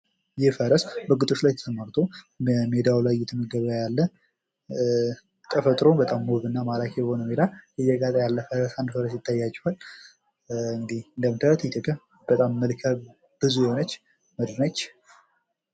ይህ ፈረስ በግጦሽ ላይ ተሰማርቶ በሜዳው ላይ እየተመገበ ያለ ተፈጥሮው በጣም ውብና ማራኪ የሆነ አንድ ፈረስ እየጋጠ ያለ አንድ ፈረስ ይታያችኋል። እንደምታዩት ኢትዮጵያ በጣም መልከብዙ የሆነች ምድር ነች።